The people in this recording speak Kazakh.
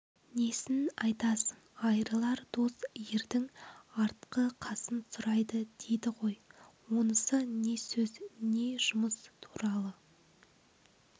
несін айтасың айырылар дос ердің артқы қасын сұрайды дейді ғой онысы не сөз не жұмыс туралы